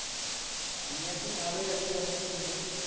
আমি এখন ভালোই আছি অসুবিধা নেই।